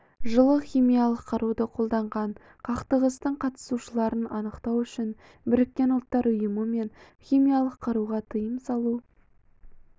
жылы химиялық қаруды қолданған қақтығыстың қатысушыларын анықтау үшін біріккен ұлттар ұйымы мен химиялық қаруға тыйым салу